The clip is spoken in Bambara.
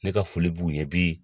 Ne ka foli b'u ye bi